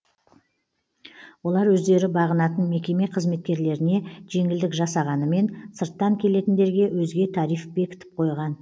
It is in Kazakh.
олар өздері бағынатын мекеме қызметкерлеріне жеңілдік жасағанымен сырттан келетіндерге өзге тариф бекітіп қойған